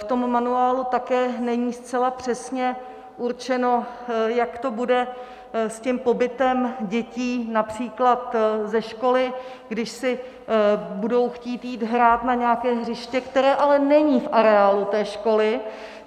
V tom manuálu také není zcela přesně určeno, jak to bude s tím pobytem dětí například ze školy, když si budou chtít jít hrát na nějaké hřiště, které ale není v areálu té školy.